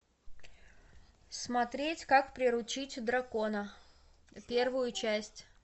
смотреть как приручить дракона первую часть